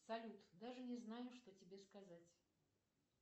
салют даже не знаю что тебе сказать